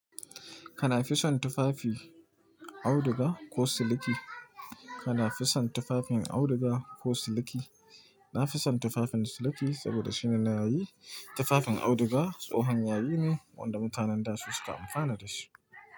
Kana fi son tufafi auduga ko siliki? Kana fi son tufafin auduga ko siliki? Na fi son tufafin siliki saboda shine na yayi. Tufafin auduga tsohon yayi ne wanda mutanen da su suka amfana da shi.